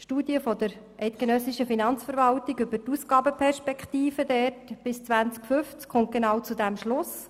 Eine Studie der Eidgenössischen Finanzverwaltung (EFV) über die Ausgabenperspektiven bis 2050 kommt diesbezüglich genau zu diesem Schluss: